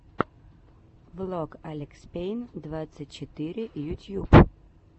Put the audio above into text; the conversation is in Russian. влог алекспейн двадцать четыре ютьюб